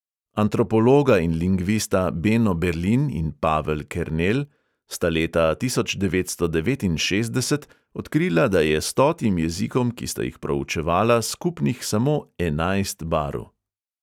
Antropologa in lingvista beno berlin in pavel kernel sta leta tisoč devetsto devetinšestdeset odkrila, da je stotim jezikom, ki sta jih proučevala, skupnih samo enajst barv.